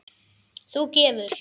Þú gefur.